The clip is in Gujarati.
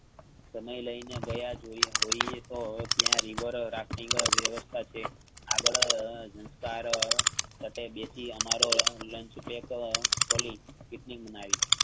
સમય લઈને ગયા જોઈએ હોઈએ તો ત્યાં reaver રગટિન્ગ વ્યવસ્થા છે. આગળ સંસ્કાર પાસેબેસી અમારો લેન ચૂંટિયે પર ખોલી picnic બનાવી.